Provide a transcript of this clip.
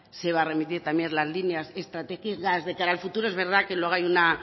se va a remitir también las líneas estratégicas de cara al futuro es verdad que luego hay una